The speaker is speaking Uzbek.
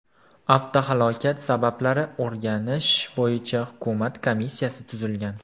Avtohalokat sabablari o‘rganish bo‘yicha Hukumat komissiyasi tuzilgan.